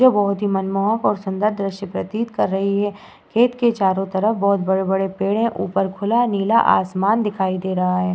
ये बहोत ही सुंदर और मनमोहक दृश्य प्रतीत कर रही है। खेत के चारों तरफ बहोत बड़े बड़े पेड़ हैं। ऊपर खुला नीला आसमान दिखाई दे रहा है।